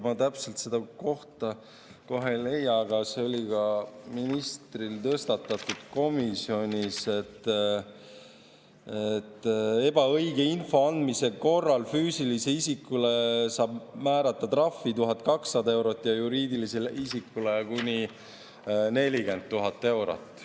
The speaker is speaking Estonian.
Ma täpselt seda kohta kohe ei leia, aga see oli ka ministril tõstatatud komisjonis, et ebaõige info andmise korral füüsilisele isikule saab määrata trahvi 1200 eurot ja juriidilisele isikule kuni 40 000 eurot.